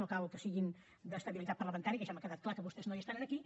no cal que siguin d’estabilitat parlamentària que ja m’ha quedat clar que vostès no hi estan aquí